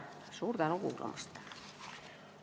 Suur tänu kuulamast!